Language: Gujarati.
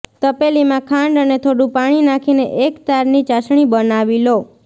તપેલીમાં ખાંડ અને થોડુ પાણી નાખીને એક તારની ચાસણી બનાવી લો